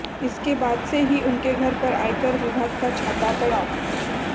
इसके बाद से ही उनके घर पर आयकर विभाग का छापा पड़ा